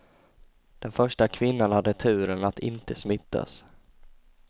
Den första kvinnan hade turen att inte smittas.